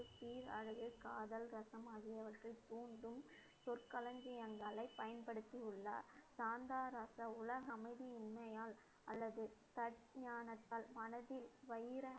பேரழகு, காதல், ரசம் ஆகியவற்றை கூறும் சொற்களஞ்சியங்களை பயன்படுத்தியுள்ளார். சாந்தா ரச உலக அமைதியின்மையால் அல்லது தக் ஞானத்தால் மனதில்